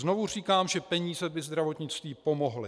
Znovu říkám, že peníze by zdravotnictví pomohly.